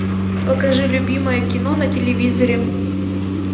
покажи любимое кино на телевизоре